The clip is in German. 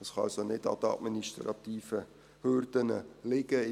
Es kann also nicht an den administrativen Hürden liegen.